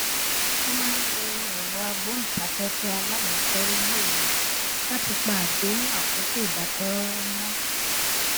mo máa ń lo èrọ agbóhùnsáféfé alágbèékọorí ní òru láti pa àdéhùn àkókò ìdákẹrọrọ mọ